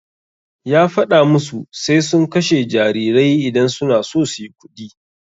Ya faɗa musu sai sun kashe jarirai idan suna so suyi kuɗi.